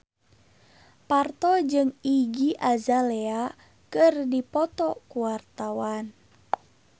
Parto jeung Iggy Azalea keur dipoto ku wartawan